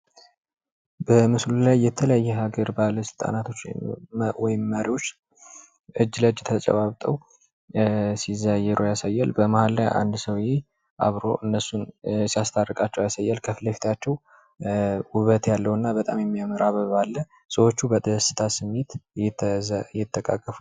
በምስሉ ላይ የተለያየ የሃገራት መሪዎች እጅ ለእጅ ተጨባብጠው ሲዘያየሩ ያሳያል። በመሃል ላይ አንድ ሰዉየ አብሮ እነሱን ሲያስታርቃቸው ያሳያል። ከፊት ለፊታቸው ዉበት ያለው እና በጣም የሚያምር አበባ አለ ሰዎቹ በደስታ ስሜት ይተቃቀፋሉ።